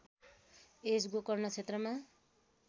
यस गोकर्ण क्षेत्रमा